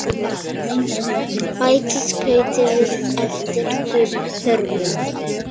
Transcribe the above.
Bætið hveiti við eftir þörfum.